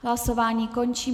Hlasování končím.